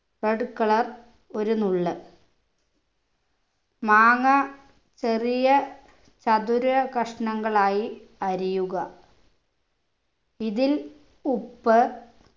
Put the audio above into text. red colour ഒരു നുള്ള് മാങ്ങ ചെറിയ ചതുര കഷണങ്ങളായി അരിയുക ഇതിൽ ഉപ്പ്